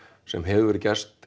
sem hefur gerst